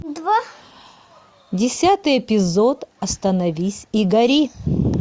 десятый эпизод остановись и гори